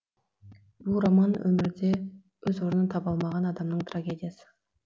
бұл роман өмірде өз орнын таба алмаған адамның трагедиясы